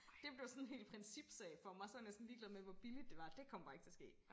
Det blev sådan en hel principsag for mig så jeg næsten ligeglad med hvor billigt det var det kommer bare ikke til at ske